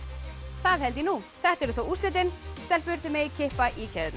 það held ég nú þetta eru þá úrslitin stelpur þið megið kippa í keðjurnar